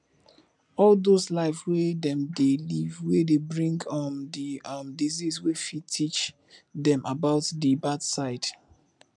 all those life wey dem dey live wey dey bring um di um disease we fit teach dem about di bad side